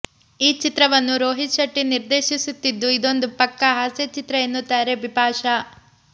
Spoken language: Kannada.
ಈ ಚಿತ್ರವನ್ನು ರೋಹಿತ್ ಶೆಟ್ಟಿ ನಿರ್ದೇಶಿಸುತ್ತಿದ್ದು ಇದೊಂದು ಪಕ್ಕಾ ಹಾಸ್ಯ ಚಿತ್ರ ಎನ್ನುತ್ತಾರೆ ಬಿಪಾಶಾ